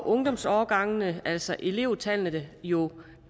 ungdomsårgangene altså elevtallene jo